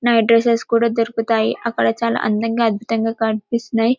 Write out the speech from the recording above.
night dresses కూడా దొరుకుతాయి అక్కడ చాలా అందంగా అద్భుతంగా కన్పిసుతున్నాయి